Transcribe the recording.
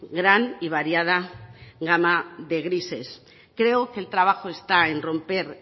gran y variada gama de grises creo que el trabajo está en romper